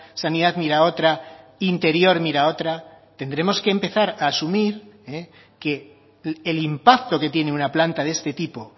sanidad mira otra interior mira otra tendremos que empezar a asumir que el impacto que tiene una planta de este tipo